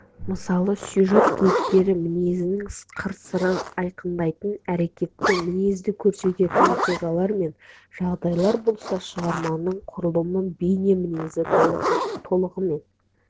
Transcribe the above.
мысалы сюжет кейіпкер мінезінің қыр-сырын айқындайтын әрекетті мінезді көрсететін оқиғалар мен жағдайлар болса шығарманың құрылымы бейне мінезін толығымен